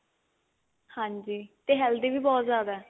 ਤੇ healthy ਬਹੁਤ ਜਿਆਦਾ